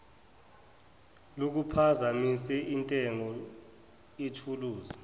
lokuphazamisa intengo yethuluzi